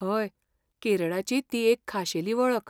हय, केरळाची ती एक खाशेली वळख.